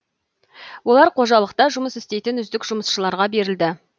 олар қожалықта жұмыс істейтін үздік жұмысшыларға берілді